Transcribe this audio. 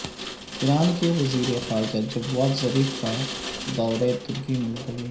ایران کے وزیر خاجہ جواد ظریف کا دورہ ترکی ملتوی